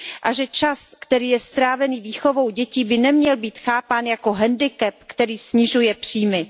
a že čas, který je strávený výchovou dětí, by neměl být chápán jako handicap, který snižuje příjmy.